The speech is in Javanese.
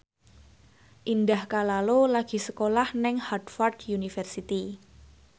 Indah Kalalo lagi sekolah nang Harvard university